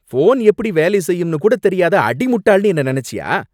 Phone எப்படி வேலை செய்யும்னு கூடத் தெரியாத அடிமுட்டாள்னு என்ன நினைச்சியா?